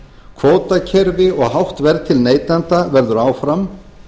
kvótakerfi og hátt verð til neytenda verður áfram